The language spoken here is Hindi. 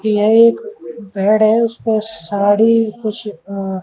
यह एक बेड है उसपर साड़ी कुछ अ--